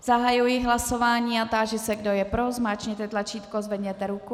Zahajuji hlasování a táži se, kdo je pro, zmáčkněte tlačítko, zvedněte ruku.